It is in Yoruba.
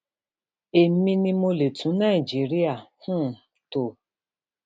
èmi ni mo lè tún nàìjíríà um tó